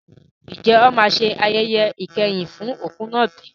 Ǹjẹ́ wọn máa ṣe ayẹyẹ ìkẹyìn fún òkú náà bí?